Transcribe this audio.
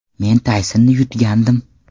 Men Taysonni yutgandim.